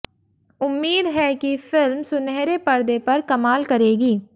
उम्मीद है कि फिल्म सुनहरे पर्दे पर कमाल करेगी